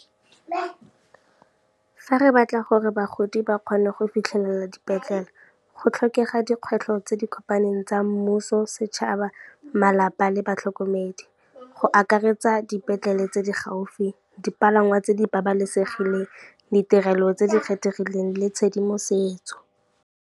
Fa re batla gore bagodi ba kgone go fitlhelela dipetlele, go tlhokega dikgwetlho tse di kopaneng tsa mmuso, setšhaba, malapa le batlhokomedi go akaretsa dipetlele tse di gaufi, dipalangwa tse di babalesegileng, ditirelo tse di kgethegileng le tshedimosetso.